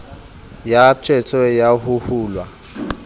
ya tshbetso ya ho hulwa